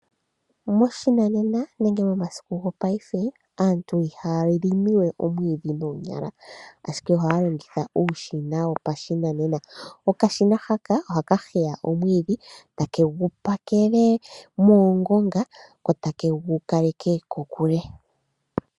Moshinanena nenge momasiku gopaife aantu ihaya limi we omwiidhi noonyala ashike ohaya longitha uushina wopashinanena. Okashina haka ohaka heya omwiidhi takegu pakele muungonga ko takegu kaleke kokule.